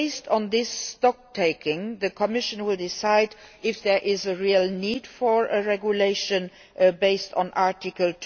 And, based on this stocktaking, the Commission will decide if there is a real need for a regulation based on Article